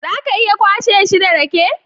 Za ka iya kwashe shi da rake?